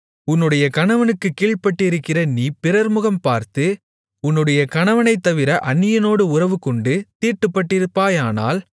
உன்னுடைய கணவனுக்கு கீழ்ப்பட்டிருக்கிற நீ பிறர்முகம் பார்த்து உன்னுடைய கணவனைத்தவிர அந்நியனோடு உறவுகொண்டு தீட்டுப்பட்டிருப்பாயானால்